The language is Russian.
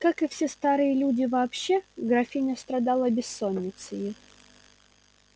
как и все старые люди вообще графиня страдала бессонницею